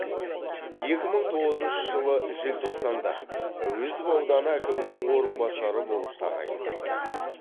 екі мың тоғызыншы жылы желтоқсанда әуезов ауданы әкімінің орынбасары болып тағайындалды